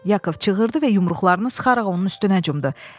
Yakov çığırdı və yumruqlarını sıxaraq onun üstünə cumdu.